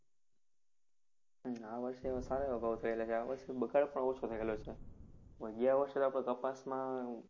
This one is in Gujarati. હમ આ વર્ષે સારા એવા ભાવ થયેલા છે. આ વર્ષે બગાળ પણ ઓછો નીકળ્યો છે. ગયા વર્ષે તો આપણે કપાસમાં